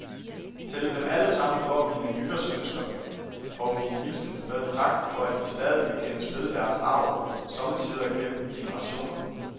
Til dem alle sammen går mine nytårsønsker og min hilsen med en tak for, at de stadig vil kendes ved deres arv, sommetider gennem generationer.